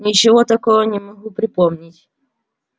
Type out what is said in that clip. ничего такого не могу припомнить